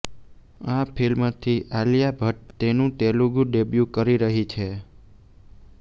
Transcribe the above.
આ ફિલ્મથી આલિયા ભટ્ટ તેનું તેલુગુ ડેબ્યુ કરી રહી છે